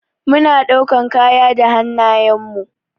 Mu na ɗaukan kaya da hannayen mu.